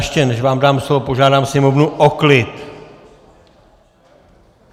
Ještě než vám dám slovo, požádám sněmovnu o klid.